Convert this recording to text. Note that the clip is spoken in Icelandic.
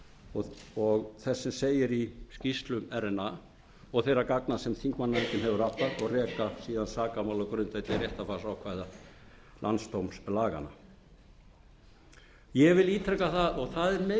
og þess sem segir í skýrslu rna og þeirra gagna sem þingmannanefndin hefur aflað og reka síðan sakamál á grundvelli réttarfarsákvæða landsdómslaganna ég vil ítreka það og það er meginreglan sem menn